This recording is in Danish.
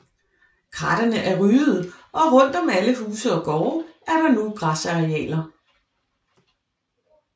Krattene er ryddede og rundt om alle huse og gårde er der nu græsarealer